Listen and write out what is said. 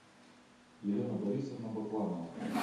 елена борисовна бакланова